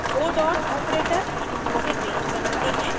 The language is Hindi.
दो डॉट ऑपरेटर इंक्लूसिव रेंज बनाते हैं